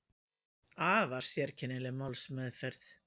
Afar sérkennileg málsmeðferð